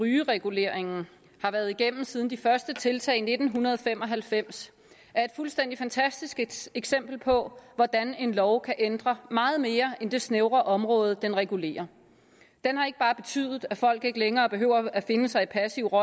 rygereguleringen har været igennem siden de første tiltag i nitten fem og halvfems er et fuldstændig fantastisk eksempel på hvordan en lov kan ændre meget mere end det snævre område den regulerer den har ikke bare betydet at folk ikke længere behøver at finde sig i passiv